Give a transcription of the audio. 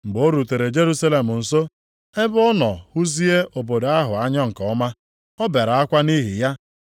Mgbe ọ rutere Jerusalem nso, ebe ọ nọ hụzie obodo ahụ anya nke ọma. Ọ bere akwa nʼihi ya,